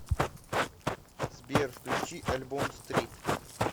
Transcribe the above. сбер включи альбом стрит